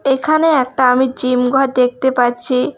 এখানে একটা আমি জিম ঘর দেখতে পাচ্ছি।